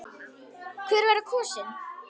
Hver verður kosinn?